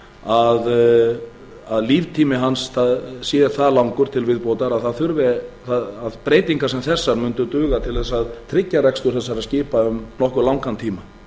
sé að líftími hans sé það langur til viðbótar að breytingar sem þessar mundu duga til að tryggja rekstur þessara skipa um nokkuð langan tíma